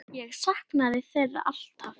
Ég saknaði þeirra alltaf.